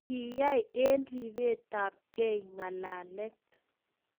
Kiai eng ripetabkei ngalalet